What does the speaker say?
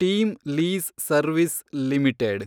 team lease service limited